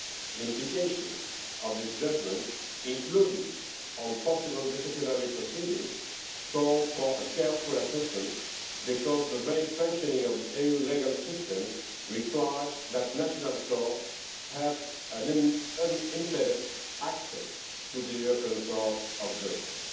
The implications of this judgment, including for possible disciplinary proceedings, call for a careful assessment because the very functioning of the EU legal system requires that national courts have unimpeded access to the European Court of Justice.